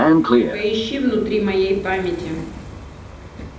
поищи внутри моей памяти